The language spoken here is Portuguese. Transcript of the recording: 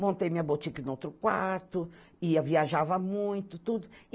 Montei minha boutique em um outro quarto, ia viajava muito, tudo.